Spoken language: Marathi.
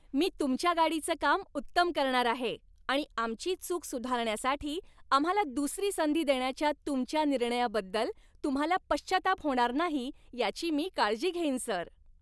मी तुमच्या गाडीचं काम उत्तम करणार आहे आणि आमची चूक सुधारण्यासाठी आम्हाला दुसरी संधी देण्याच्या तुमच्या निर्णयाबद्दल तुम्हाला पश्चात्ताप होणार नाही याची मी काळजी घेईन सर!